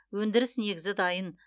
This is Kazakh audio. өндіріс негізі дайын